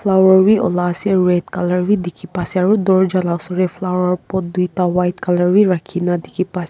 flower bhi ulah ase red colour bhi dikhi pa se aru dorja lah oshor teh flower pot dui ta white colour bhi rakhina dikhi pai se.